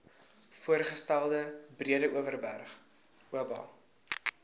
voorgestelde breedeoverberg oba